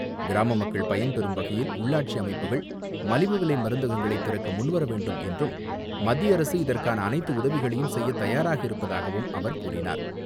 கிராம மக்கள் பயன்பெறும் வகையில், உள்ளாட்சி அமைப்புகள் மலிவு விலைமருந்தகங்களைத் திறக்க முன்வர வேண்டும் என்றும் மத்திய அரசு இதற்கான அனைத்து உதவிகளையும் செய்யத் தயாராக இருப்பதாகவும் அவர் கூறினார்.